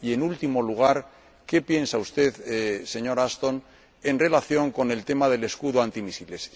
Y, en último lugar, ¿qué piensa usted, señora Ashton, en relación con el tema del escudo antimisiles?